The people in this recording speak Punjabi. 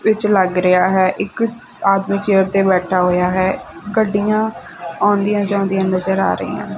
ਵਿੱਚ ਲੱਗ ਰਿਹਾ ਹੈ ਇੱਕ ਆਦਮੀ ਚੇਅਰ ਤੇ ਬੈਠਾ ਹੋਇਆ ਹੈ ਗੱਡੀਆਂ ਆਉਂਦੀਆਂ ਜਾਂਦੀਆਂ ਨਜ਼ਰ ਆ ਰਹੀ ਨ।